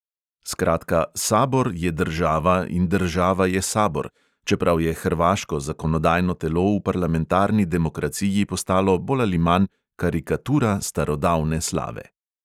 Skratka, sabor je država in država je sabor, čeprav je hrvaško zakonodajno telo v parlamentarni demokraciji postalo bolj ali manj karikatura starodavne slave.